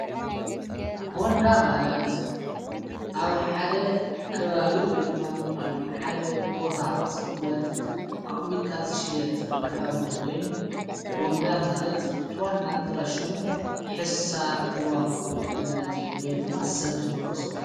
ቦንዳ ማለት ኣብ ሓደ ከባዊ ወይ ድማ ኣብ ሓደ ቦታ ዘቕመጥ ኣቕሚጥካ ዝሽየጥ ክዳውንቲ ኾይኑ ቦንዳ ማለት ትወናጥረሹሙ ሕሳር ዝዋጕኡ ማለቲ ወይ ድማ ሰብ ዝለበሶ።